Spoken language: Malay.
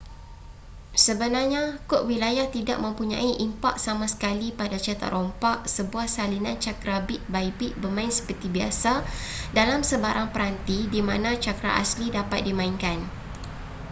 sebenarnya kod wilayah tidak mempunyai impak sama sekali pada cetak rompak sebuah salinan cakera bit by bit bermain seperti biasa dalam sebarang peranti di mana cakera asli dapat dimainkan